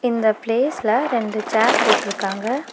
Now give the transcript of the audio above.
இந்த பிளேஸ்ல ரெண்டு சேர் போட்ருக்காங்க.